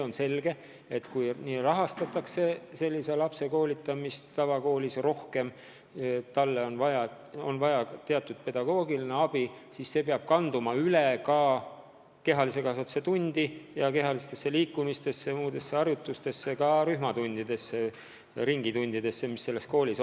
On selge, et sellise lapse koolitamist tavakoolis peab rohkem rahastama, talle on vaja teatud pedagoogiline abi, mis peab käepärast olema ka kehalise kasvatuse tundides ja üldse kehalisel liikumisel, samuti mitmesugustes rühmatundides, näiteks koolis tegutsevates ringides.